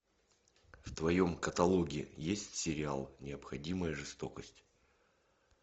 в твоем каталоге есть сериал необходимая жестокость